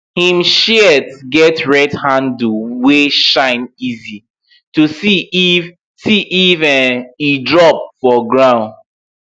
him shears get red handle wey shine easy to see if see if um e drop for ground